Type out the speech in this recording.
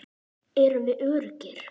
Erum við öruggir?